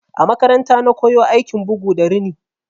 A makaranta na koyo aikin bugu da rini.